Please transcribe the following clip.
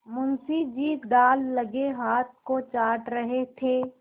मुंशी जी दाललगे हाथ को चाट रहे थे